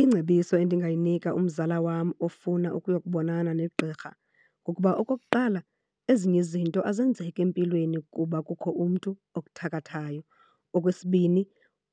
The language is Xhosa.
Ingcebiso endingayinika umzala wam ofuna ukuyokubonana negqirha kukuba okokuqala ezinye izinto azenzeki empilweni kuba kukho umntu okuthakathayo. Okwesibini,